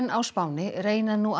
á Spáni reyna nú að